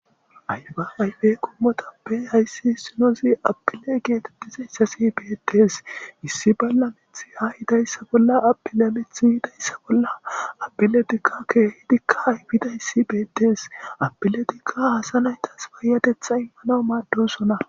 aya ayfe qomotappe hayssi issinozi apile geetettiza yssasi beetees issi balla mithi ay hidayssa bolla apilemith yidayssa bolla apiletikakkeehidikka haybida yssi beetees apiletikka hasanaytas baayatetha immana maaddosona.